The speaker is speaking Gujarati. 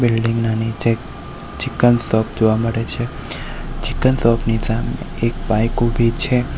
બિલ્ડીંગ ના નીચે ચિકન શોપ જોવા મળે છે ચિકન શોપ ની સામે એક બાઈક ઉભી છે.